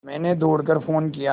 मैंने दौड़ कर फ़ोन किया